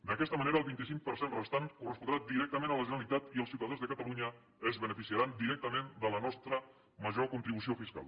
d’aquesta manera el vint cinc per cent restant correspondrà directament a la generalitat i els ciutadans de catalunya es beneficiaran directament de la nostra major contribució fiscal